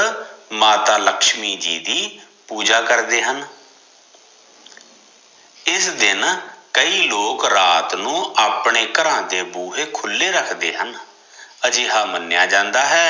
ਮਾਤਾ ਲਛਮੀ ਜੀ ਦੀ ਪੂਜਾ ਕਰਦੇ ਹਨ ਇਸ ਦਿਨ ਕਈ ਲੋਕ ਰਾਤ ਨੂੰ ਆਪਣੇ ਘਰਾਂ ਦੇ ਬੂਹੇ ਖੁੱਲੇ ਰਖਦੇ ਹਨ, ਅਜਿਹਾ ਮਨੀਆਂ ਜਾਂਦਾ ਹੈ